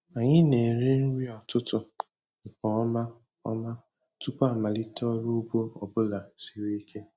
Anyị na-eri nri ụtụtụ nke ọma ọma tupu amalite ọrụ ugbo ọbụla siri ike.